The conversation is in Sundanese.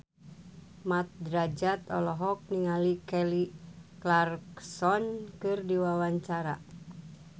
Mat Drajat olohok ningali Kelly Clarkson keur diwawancara